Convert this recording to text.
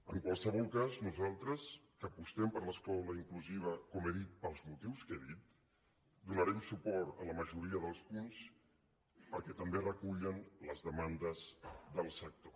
en qualsevol cas nosaltres que apostem per l’escola inclusiva com he dit pel motius que he dit donarem suport a la majoria dels punts perquè també recullen les demandes dels sector